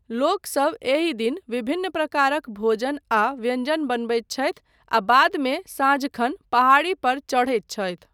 लोकसब एहि दिन विभिन्न प्रकारक भोजन आ व्यञ्जन बनबैत छथि आ बादमे साँझखन पहाड़ी पर चढ़ैत छथि।